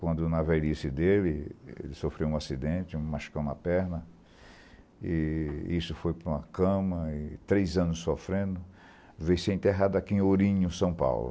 Quando na velhice dele, ele sofreu um acidente, machucou uma perna, e isso foi para uma cama, e três anos sofrendo, veio ser enterrado aqui em Ourinho, São Paulo.